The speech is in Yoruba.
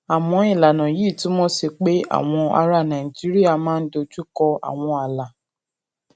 àmọ ìlànà yìí ṣì túmọ sí pé àwọn ará nàìjíríà máa ń dojú kọ àwọn ààlà